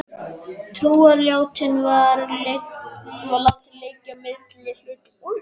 Trúarjátningin var látin liggja milli hluta.